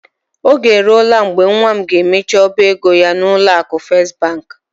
Oge eruola mgbe nwa m ga-emechi ọba ego ya n'ụlọ akụ First Bank.